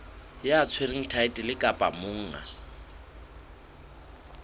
ya tshwereng thaetlele kapa monga